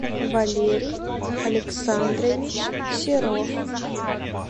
валерий александрович серов